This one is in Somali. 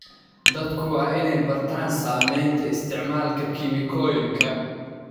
Dadku waa inay bartaan saameynta isticmaalka kiimikooyinka.